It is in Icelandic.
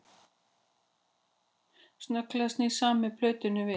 Snögglega snýr Sæmi plötunni við